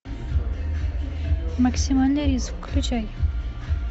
максимальный риск включай